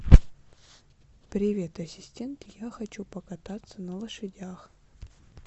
привет ассистент я хочу покататься на лошадях